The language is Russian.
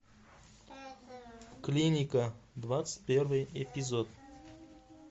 клиника двадцать первый эпизод